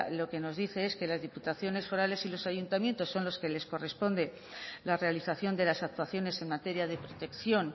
lo que nos dice es que las diputaciones forales y los ayuntamientos son los que les corresponde la realización de las actuaciones en materia de protección